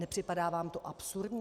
Nepřipadá vám to absurdní?